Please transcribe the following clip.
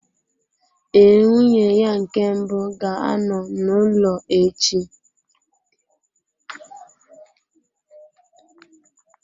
Ee, nwunye ya nke mbụ ga-anọ n'ụlọ echi.